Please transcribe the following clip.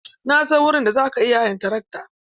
Na san wurin da za ka iya hayan trakto.